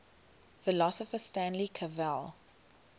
philosopher stanley cavell